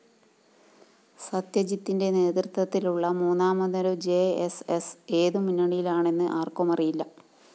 സത്ജിത്തിന്റെ നേതൃത്വത്തിലുള്ള മൂന്നാമതൊരു J S S ഏതു മുന്നണിയിലാണെന്ന് ആര്‍ക്കുമറിയില്ല